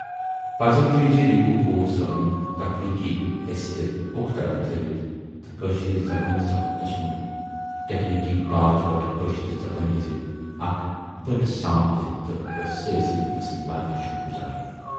پزر چھُ یہِ زِ رِنکو کول صٲبٕنۍ تخلیٖقی حیثیت اوکطرف تھٲوِتھ تہٕ کٲشرِ زبٲنۍ سپُد تسُند ٹیکنِکی باج وٹھ کٲشرِ زبٲنۍ ہٕنزِ اکھ بٔڈ سانپتھ تہٕ ٲسۍ سٲرٕے چھِ تسٕندۍ واریاہ شُکر گُزار۔